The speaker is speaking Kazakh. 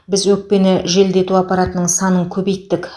біз өкпені желдету аппаратының санын көбейттік